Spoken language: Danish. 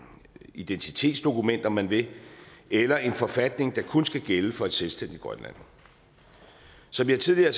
identitetsdokument om man vil eller en forfatning der kun skal gælde for et selvstændigt grønland som jeg tidligere